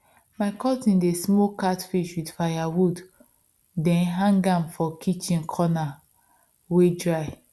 my cousin dey smoke catfish with firewood then hang am for kitchen corner wey dry